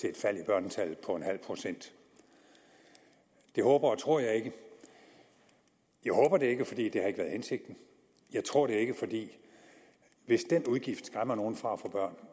et fald i børnetallet på nul procent det håber og tror jeg ikke jeg håber det ikke for det har ikke været hensigten jeg tror det ikke for hvis den udgift skræmmer nogen fra at få